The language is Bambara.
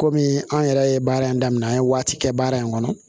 Kɔmi an yɛrɛ ye baara in daminɛ an ye waati kɛ baara in kɔnɔ